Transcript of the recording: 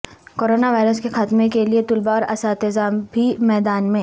corona virus کے خاتمے کے لیے طلبہ اور اساتذہ بھی میدان میں